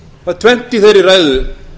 það er tvennt í þeirri ræðu